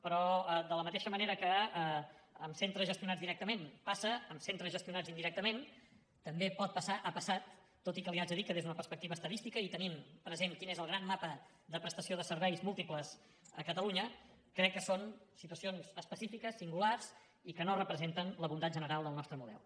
però de la mateixa manera que amb centres gestionats directament passa amb centres gestionats indirectament també pot passar ha passat tot i que li haig de dir que des d’una perspectiva estadística i tenint present quin és el gran mapa de prestació de serveis múltiples a catalunya crec que són situacions específiques singulars i que no representen la voluntat general del nostre model